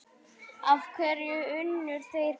Af hverju unnu þeir Blika?